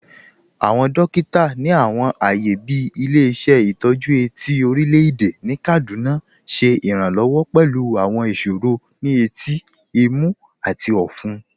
Awọn dòkìtà ni awọn ààyè bí Ilẹ̀-ìṣẹ̀ Itọju Eti ti Orílẹ̀-èdè Kaduna ṣẹ iránlọ́wọ̀ pẹ̀lú awọn ìṣòro ni ètí, ìmú, àti ọ̀fún.